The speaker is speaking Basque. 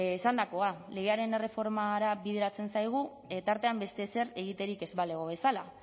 esandakoa legearen erreformara bideratzen zaigu tartean beste ezer egiterik ez balego bezala